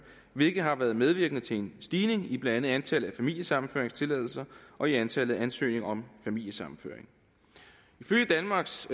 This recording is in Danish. hvilket har været medvirkende til en stigning i blandt andet antallet af familiesammenføringstilladelser og i antallet af ansøgninger om familiesammenføring ifølge danmarks